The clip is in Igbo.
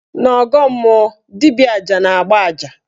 N' ọgọọ mmụọ, dibịa aja na-agba aja